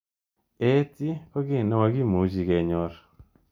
AT ko ki nemakimuchi kenyor.